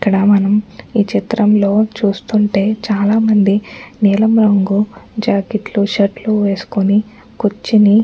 ఇక్కడ మనం ఈ చిత్రంలో చూస్తుంటే చాలామంది నీలం రంగు జాకెట్ లు షర్ట్ లు వేసుకొని కుర్చొని --